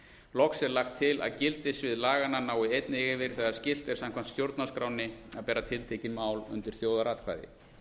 loks er lagt til að gildissvið laganna nái einnig yfir þegar skylt er samkvæmt stjórnarskránni að bera tiltekin mál undir þjóðaratkvæði